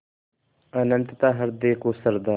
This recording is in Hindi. अनंतता हृदय को श्रद्धा